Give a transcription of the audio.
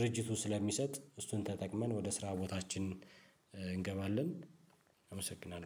ድርጅቱ ስለሚሰጥ እሱን ተጠቅመን ወደ ስራ ቦታችን እንገባለን። አመሰግናለሁ